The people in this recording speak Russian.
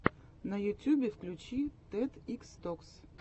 на ютюбе включи тед икс токс